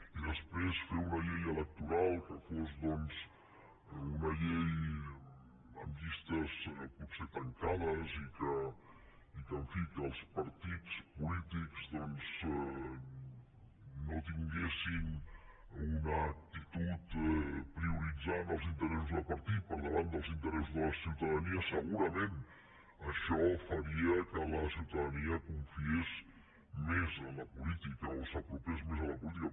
i després fer una llei electoral que fos una llei amb llistes potser tancades i que en fi els partits polítics no tinguessin una actitud que prioritzés els interessos de partit per davant dels interessos de la ciutadania segurament això faria que la ciutadania confiés més en la política o s’apropés més a la política